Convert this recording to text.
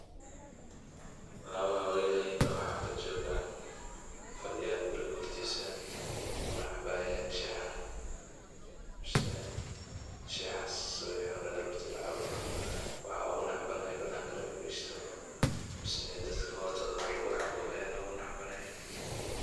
Laba haweeney oo xaafad joog ah, fadiyaan guriga hortisa kunacabayan shaah . Shaahas subixi hore aroorti lacabo waxa ogu nacabanahay bananka lafaristo mase neh dadka hortoda waax lagu cabo aya ogu nacbanahay.